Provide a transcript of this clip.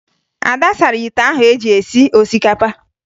Ada sara ite ahụ eji esi osikapa